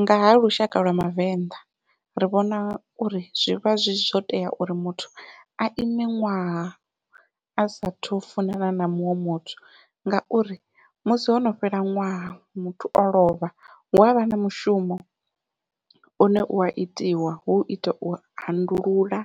Ngaha lushaka lwa vhavenḓa ri vhona uri zwivha zwi zwo tea uri muthu a ime ṅwaha a sathu funana na muṅwe muthu, ngauri musi hono fhela ṅwaha muthu o lovha hu avha na mushumo une ua itiwa hu ita u handulula